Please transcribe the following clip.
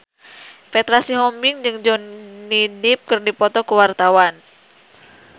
Petra Sihombing jeung Johnny Depp keur dipoto ku wartawan